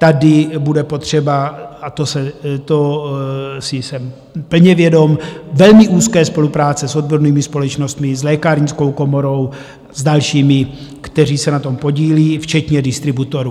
Tady bude potřeba - a to si jsem plně vědom - velmi úzké spolupráce s odbornými společnostmi, s lékárnickou komorou, s dalšími, kteří se na tom podílí, včetně distributorů.